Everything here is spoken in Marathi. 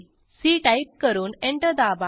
सी टाईप करून एंटर दाबा